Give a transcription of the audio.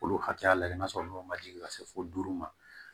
K'olu hakɛya lajɛ n'a sɔrɔ n'o ma jigin ka se fo duuru ma